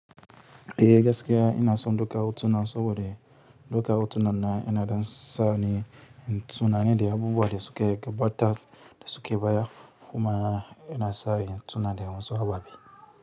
Eh gaskiya ina son ɗauka hotuna saboda ɗauka hotuna na yana ɗan sani in tunani da abubuwa da suke gabatar da suke baya kuma ina son in tuna da waɗan su ababe.